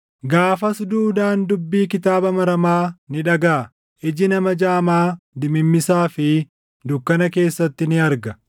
Gaafas duudaan dubbii kitaaba maramaa ni dhagaʼa; iji nama jaamaa dimimmisaa fi dukkana keessatti ni arga.